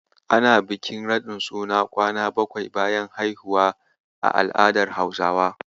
Ana bikin raɗin suna kwana bakwai bayan haihuwa a al'adar Hausawa.